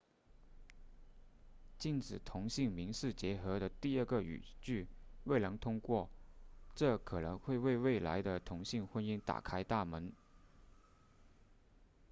禁止同性民事结合的第二个语句未能通过这可能会为未来的同性婚姻打开大门